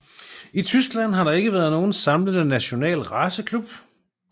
I Tyskland har der ikke været nogen samlende national raceklub